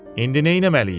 İndi neynəməliyik?